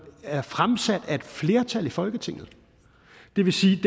er fremsat af et flertal i folketinget det vil sige